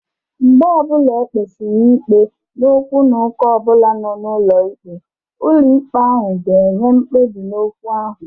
Mgbe ọbụla ekpesiri ikpe n'okwu na ụka ọbụla nọ n'ụlọ ikpe, ụlọ ikpe ahụ ga-enye mkpebi n'okwu ahụ.